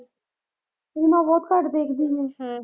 ਫ਼ਿਲਮਾਂ ਬਹੁਤ ਘੱਟ ਦੇਖਦੀ ਮੈਂ, ਹਮ